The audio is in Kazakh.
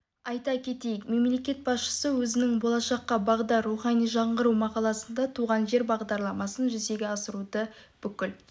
айта кетейік мемлекет басшысы өзінің болашаққа бағдар рухани жаңғыру мақаласында туған жер бағдарламасын жүзеге асыруды бүкіл